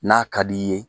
N'a ka d'i ye